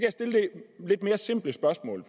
lidt mere simpelt spørgsmål